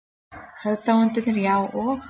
Aðdáendurnir, já, og?